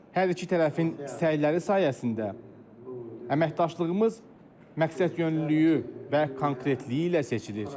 Hər iki tərəfin səyləri sayəsində əməkdaşlığımız məqsədyönlülüyü və konkretliyi ilə seçilir.